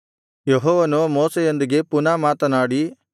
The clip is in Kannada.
ಯೆಹೋವನು ಮೋಶೆಯೊಂದಿಗೆ ಪುನಃ ಮಾತನಾಡಿ